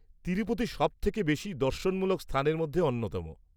-তিরুপতি সবথেকে বেশি দর্শনমূলক স্থানের মধ্যে অন্যতম।